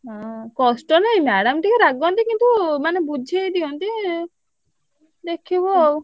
ହୁଁ କଷ୍ଟ ନାଇଁ madam ଟିକେ ରାଗନ୍ତି କିନ୍ତୁ ମାନେ ବୁଝେଇ ଦିଅନ୍ତି। ଲେଖିବ ଆଉ।